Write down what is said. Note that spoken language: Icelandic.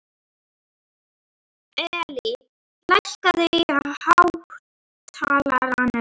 Elly, lækkaðu í hátalaranum.